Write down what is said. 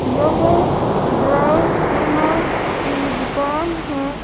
यह dry cleaner की दुकान है।